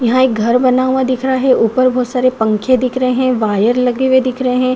यहाँ एक घर बना हुआ दिख रहा है ऊपर बहोत सारे पंखे दिख रहे हैं वायर लगे हुए दिख रहे हैं।